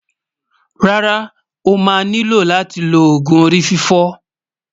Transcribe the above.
rárá, ọ̀ má ní ló láti ló ògún orí-fífọ́